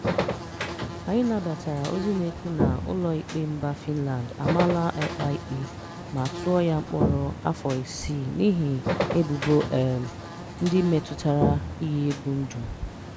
"Anyị nabatara ozi na-ekwu na ụlọikpe mba Fịnland amaala Ekpa ikpe ma tụọ ya mkpọrọ afọ isii n'ihi ebubo um ndị metụtara iyi egwu ndụ".